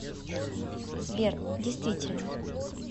сбер действительно